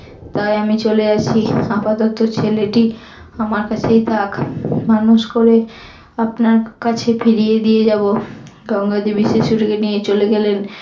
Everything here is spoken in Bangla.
তাই আমি চলে যাচ্চি আপাতত ছেলেটি আমার কাছেই থাক মানুষ করে আপনার কাছে ফিরিয়ে দিয়ে যাব। গঙ্গা দেবী শিশুটিকে নিয়ে চলে গেলেন।